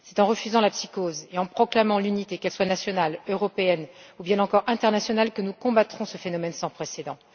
C'est en refusant la psychose et en proclamant l'unité, qu'elle soit nationale, européenne ou bien encore internationale, que nous combattrons ce phénomène sans précédent.